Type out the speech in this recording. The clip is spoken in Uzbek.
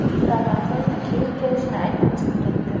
Saldan so‘ng, keyin kelishini aytib chiqib ketdi.